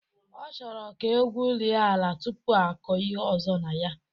Ọ chọrọ ka egwurie ala tụpụ akọ ihe ọzọ na ya